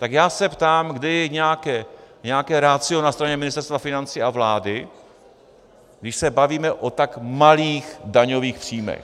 Tak já se ptám, kde je nějaké ratio na straně Ministerstva financí a vlády, když se bavíme o tak malých daňových příjmech.